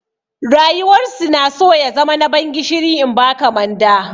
Rayuwar su na so ya zama na ban gishiri in ba ka manda.